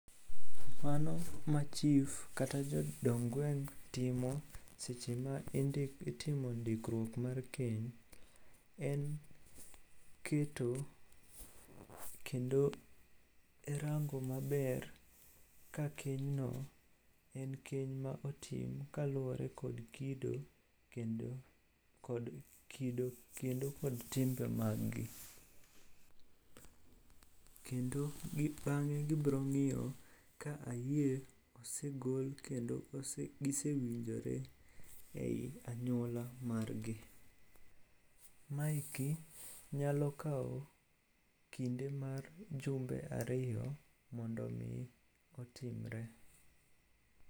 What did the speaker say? Mano ma chif kata jodong gweng' timo seche ma itimo ndikruok mar keny, en keto kendo rango maber ka kenyno en keny ma otim kaluwore kod kido kendo kod timbe maggi. Kendo bang'e gibrong'iyo ka ayie osegol kendo gisewinjore e i anyuola margi. Maeki nyalo kawo kinde mar jumbe ariyo mondo omi otimre.